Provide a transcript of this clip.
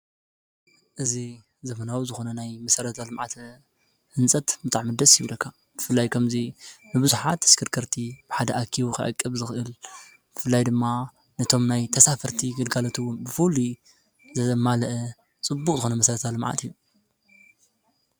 እዚ ዘበናዊ ዝኮነ ናይ መሰረተ ልማዓት ህንፀት ብጣዕሚ ደሰ ይብለካ፡፡ ብፍላይ ከምዚ ንቡዙሓት ተሽከርክከርት ብሓደ ዓቂቡ ክዕቅብ ዝክእል ብፍላይ ድማ ኖቶሞ ናይ ተሳፈርቲ አገልግሎት ዘማለእ ፅቡቅ ዝኮነ መሰረዊ ልማዓት እዩ፡፡